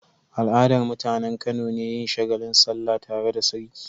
Al'adar mutAnan Kano ne yin shagalin sallah tare da sarki